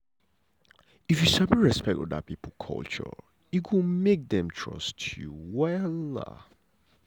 if you sabi respect oda pipo culture e go make dem trust you wella.